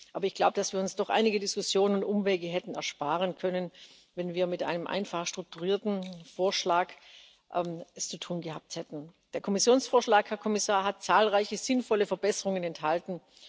Ich glaube aber, dass wir uns doch einige Diskussionen und Umwege hätten ersparen können, wenn wir es mit einem einfach strukturierten Vorschlag zu tun gehabt hätten. Der Kommissionsvorschlag, Herr Kommissar, hat zahlreiche sinnvolle Verbesserungen enthalten.